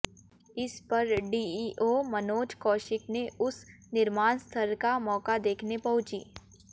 इस पर डीईआे मनोज कौशिक ने उस निर्माण स्थल का मौका देखने पहुंची